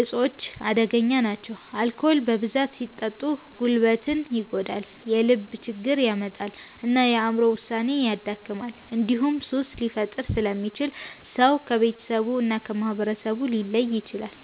እፆች አደገኛ ናቸው። አልኮል በብዛት ሲጠጣ ጉበትን ይጎዳል፣ የልብ ችግር ያመጣል እና የአእምሮ ውሳኔን ያደክማል። እንዲሁም ሱስ ሊፈጥር ስለሚችል ሰው ከቤተሰቡ እና ከማህበረሰቡ ሊለይ ይችላል።